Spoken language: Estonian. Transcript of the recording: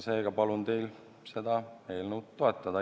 Seega palun teil seda eelnõu toetada.